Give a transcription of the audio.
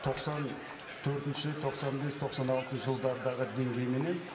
тоқсан төртінші тоқсан бес тоқсан алтыншы жылдардағы деңгейменен